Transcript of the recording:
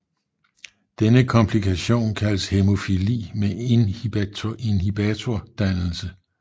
Denne komplikation kaldes hæmofili med inhibitordannelse